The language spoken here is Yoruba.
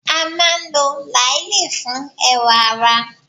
A máa ń lo làálì fún ẹwà ara.